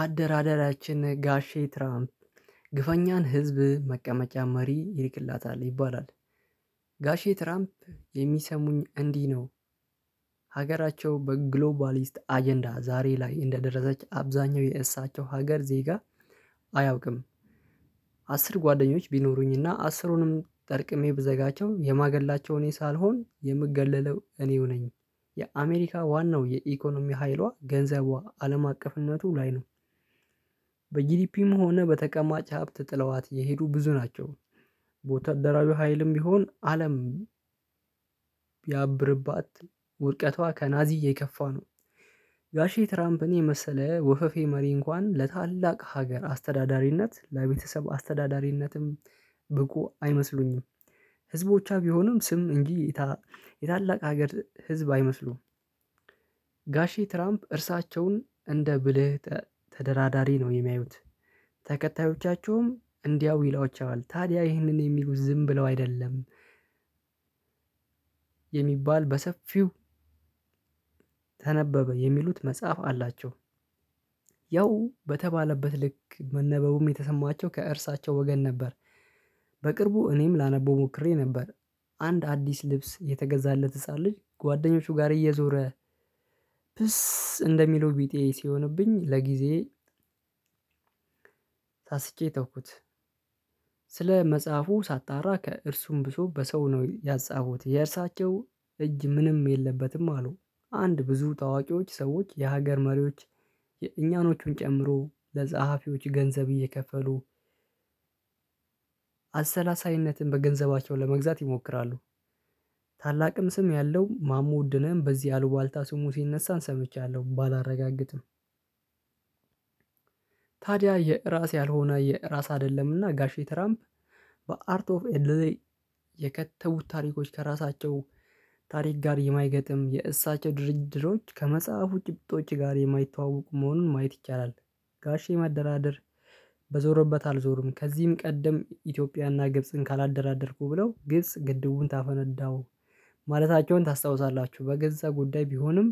አደራደራችን ጋሼ ትራምፕ ግፈኛን ህዝብ መቀመጫ መሪ ይልክላታል ይባላል። ጋሼ ትራምፕ የሚሰሙኝ እንዲህ ነው። ሀገራቸው በግሎባሊስት አጀንዳ ዛሬ ላይ እንደደረሰች አብዛኛው የእሳቸው ሀገር ዜጋ አያውቅም። አስር ጓደኞች ቢኖሩኝና አስሩንም ጠርቅሜ ብዘጋቸው የማገላቸውን ሳልሆን የምገለለው እኔው ነኝ። የአሜሪካ ዋናው የኢኮኖሚ ኃይሏ ገንዘቧ አለም አቀፍነቱ ላይ ነው። በጂዲፒም ሆነ በተቀማጭ ሀብት ጥለዋት የሄዱ ብዙ ናቸው። ቦታ ደራቢው ሀይልም ቢሆን አለም ያብርባት ውድቀቷ ከናዚዬ ከፋ ነው። ጋሼ ትራምፕን የመሰለ ወፈፌ መሪ እንኳን ለታላቅ ሀገር አስተዳዳሪነት ለቤተሰብ አስተዳዳሪነትም ብቁ አይመስሉኝም። ህዝቦቿ ቢሆንም ስም እንጂ የታላቅ ሀገር ህዝብ አይመስሉም። ጋሼ ትራምፕ እርሳቸውን እንደ ብልህ ተደራዳሪ ነው የሚያዩት። ተከታዮቻቸውም እንዲያው ይሏቸዋል ታዲያ ይህንን የሚሉ ዝም ብለው አይደለም። የሚባል በሰፊው ተነበበ የሚሉት መጽሐፍ አላቸው። ያው በተባለበት ልክ መነበቡም የተሰማቸው ከእርሳቸው ወገን ነበር። በቅርቡ እኔም ላነበው ሞክሬ ነበር። አንድ አዲስ ልብስ የተገዛለት ህፃን ልጅ ጓደኞቹ ጋር እየዞረ ፕስ እንደሚለው ቢጤ የሆነብኝ ለጊዜ ታስጬ ተውኩት። ስለ መጽሐፉ ሳታራ ከእርሱም ብሶ በሰው ነው ያጻፉት የእርሳቸው እጅ ምንም የለበትም አሉ። አንድ ብዙ ታዋቂዎች ሰዎች የሀገር መሪዎች የእኛኖቹን ጨምሮ ለጸሀፊዎች ገንዘብ እየከፈሉ አሰላሳይነትን በገንዘባቸው ለመግዛት ይሞክራሉ። ታላቅም ስም ያለው ማሙ ውድነህን በዚህ አልባልታ ስሙ ሲነሳን ሰምቻለሁ ባላረጋግጥም። ታዲያ የራስ ያልሆነ የራስ አይደለምና ጋሼ ትራምፕ በአርት ኦፍ ኤልዜ የከተቡት ታሪኮች ከራሳቸው ታሪክ ጋር የማይገጥም የእሳቸው ድርድሮች ከመጽሐፉ ጭብጦች ጋር የማይተዋወቁ መሆኑን ማየት ይቻላል። ጋሼ ማደራደር በዞረበት አልዞርም ከዚህም ቀደም ኢትዮጵያና ግብጽን ካላደራደርኩ ብለው ግብጽ ግድቡን ታፈነዳው ማለታቸውን ታስታውሳላችሁ? በገዛ ጉዳይ ቢሆንም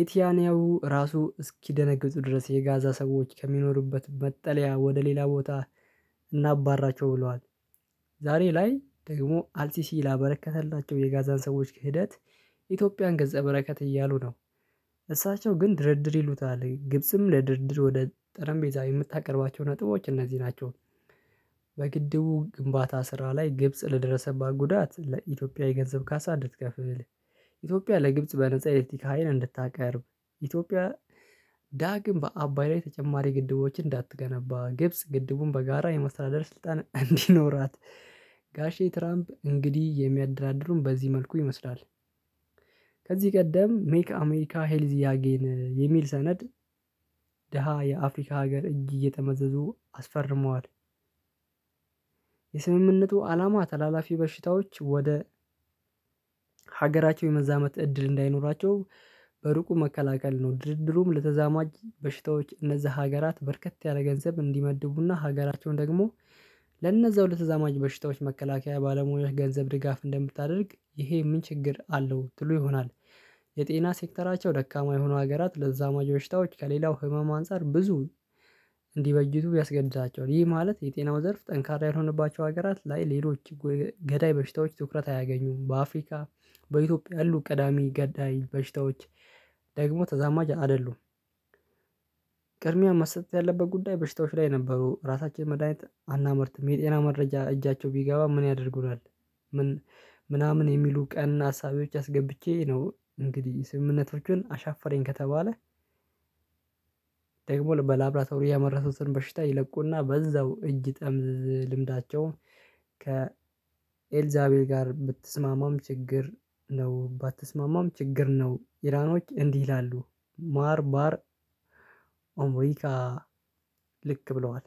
የቲያኒያው ራሱ እስኪደነግጡ ድረስ የጋዛ ሰዎች ከሚኖሩበት መጠለያ ወደ ሌላ ቦታ እናባራቸው ብለዋል። ዛሬ ላይ ደግሞ አልሲሲ ላበረከተላቸው የጋዛን ሰዎች ክህደት ኢትዮጵያን ገጸ በረከት እያሉ ነው። እሳቸው ግን ድርድር ይሉታል ግብጽም ለድርድር ወደ ጠረም ቤዛ የምታቀርባቸው ነጥቦች እነዚህ ናቸው። በግድቡ ግንባታ ስራ ላይ ግብጽ ለደረሰባት ጉዳት ለኢትዮጵያ የገንዘብ ካሳ እንድትከፍል ኢትዮጵያ ለግብጽ በነፃ ኤሌክትሪክ ሀይል እንድታቀርብ ኢትዮጵያ ዳግም በአባይ ላይ ተጨማሪ ግድቦችን እንዳትገነባ ግብጽ ግድቡን በጋራ የመስራደር ስልጣን እንዲኖራት ጋሼ ትራምፕ እንግዲህ የሚያደራድሩን በዚህ መልኩ ይመስላል። ከዚህ ቀደም ሜክ አሜሪካ ሄልዝ ያጌን የሚል ሰነድ ደሃ የአፍሪካ ሀገር እየተመዘዙ አስፈርመዋል። የስምምነቱ አላማ ተላላፊ በሽታዎች ወደ ሀገራቸው የመዛመት እድል እንዳይኖራቸው በሩቁ መከላከል ነው። ድርድሩም ለተዛማጅ በሽታዎች እነዛ ሀገራት በርከት ያለ ገንዘብ እንዲመድቡና ሀገራቸውን ደግሞ ለነዛው ለተዛማጅ በሽታዎች መከላከያ ባለሙያዎች ገንዘብ ድጋፍ እንደምታደርግ ይሄ ምን ችግር አለው ትሉ ይሆናል? የጤና ሴክተራቸው ደካማ የሆኑ ሀገራት ለዛማ ጆሽታዎች ከሌላው ህመም አንፃር ብዙ እንዲበጅቱ ያስገድዛቸዋል። ይህ ማለት የጤናው ዘርፍ ጠንካራ የሆነባቸው ሀገራት ላይ ሌሎች ገዳይ በሽታዎች ትኩረት አያገኙም በአፍሪካ በኢትዮጵያ ያሉ ቀዳሚ ገዳይ በሽታዎች ደግሞ ተዛማጅ አይደሉም። ቅድሚያ መሰጠት ያለበት ጉዳይ በሽታዎች ላይ ነበሩ ራሳችን መድሃኒት አናመርትም የጤና መረጃ እጃቸው ቢገባ ምን ያደርጉናል? ምን ምናምን የሚሉ ቀን አሳቢዎች አስገብቼ ነው እንግዲህ ስምምነቱን አሻፈረኝ ከተባለ። ደግሞ በላብራቶሪ ያመረቱትን በሽታ ይለቁና በዛው እጅ ይጠምዝ ልምዳቸውም ከ ኤልዛቤል ጋር ብትስማማም ችግር ነው ባትስማማም ችግር ነው ኢላኖች እንዲህ ይላሉ። ማር ባር ኦምሪካ ልክ ብለዋል